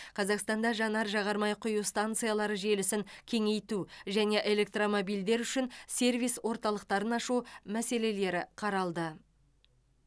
қазақстанда жанар жағармай құю станциялары желісін кеңейту және электромобильдер үшін сервис орталықтарын ашу мәселелері қаралды